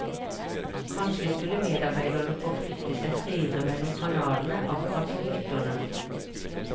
Kanskje skulle medarbeiderne få flytte seg friere mellom kanalene, akkurat som lytterne.